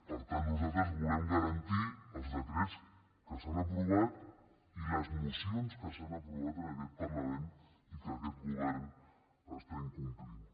per tant nosaltres volem garantir els decrets que s’han aprovat i les mocions que s’han aprovat en aquest parlament i que aquest govern està incomplint